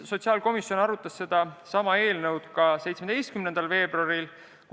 Sotsiaalkomisjon arutas seda eelnõu ka 17. veebruaril.